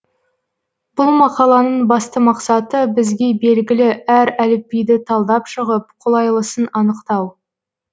бұл мақаланың басты мақсаты бізге белгілі әр әліпбиді талдап шығып қолайлысын анықтау